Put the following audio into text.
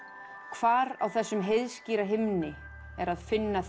hvar á þessum himni er að finna